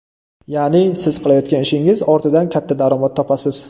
Ya’ni siz qilayotgan ishingizning ortidan katta daromad topasiz.